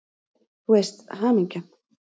Þú veist: Hamingjan!